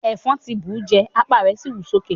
Ẹfọn kàn ti bú ù jẹ́, apa rẹ si wú soke.